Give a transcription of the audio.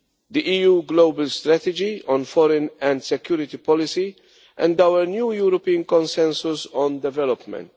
the EU Global Strategy on Foreign and Security Policy and our new European Consensus on Development.